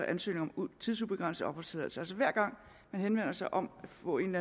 ansøgninger om tidsubegrænset opholdstilladelse altså hver gang man henvender sig om at få en